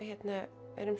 erum